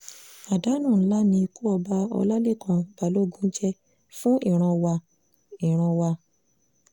àdánù ńlá ni ikú ọba ọlálẹ́kan balógun jẹ́ fún ìran wa ìran wa